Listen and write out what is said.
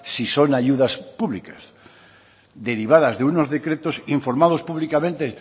si son ayudas públicas derivadas de unos decretos informados públicamente